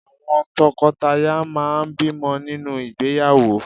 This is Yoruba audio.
Àwọn tọkọtaya máà ń bímọ nínú ìgbéyàwó.